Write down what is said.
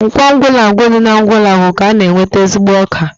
Nkwọ Ugwulangwu dị n'Ugwulangwu ka a na-enweta ezigbo ọka